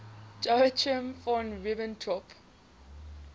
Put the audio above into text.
joachim von ribbentrop